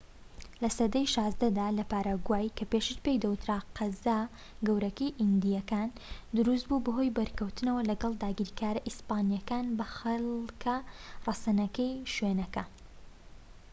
لە سەدەی ١٦ دا لە پاراگوای، کە پێشتر پێی دەوترا قەزا گەورەکەی ئیندیەکان دروستبوو بەهۆی بەرکەوتنەوە لەگەڵ داگیرکارە ئیسپانیەکان بە خەلکە رەسەنەکەی شوێنەکە